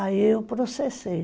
Aí eu processei.